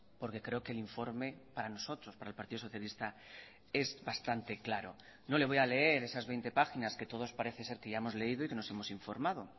porque creo que el informe para nosotros para el partido socialista es bastante claro no le voy a leer esas veinte páginas que todos parece ser que ya hemos leído y que nos hemos informado